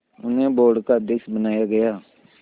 उन्हें बोर्ड का अध्यक्ष बनाया गया